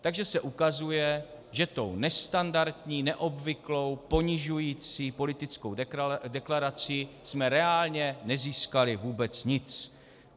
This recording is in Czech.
Takže se ukazuje, že tou nestandardní, neobvyklou, ponižující politickou deklarací jsme reálně nezískali vůbec nic.